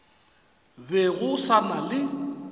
be go sa na le